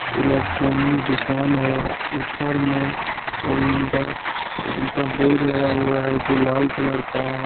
Electronic दुकान है ऊपर में ओइंडा का बोर्ड लगा हुआ है जो लाल कलर का है।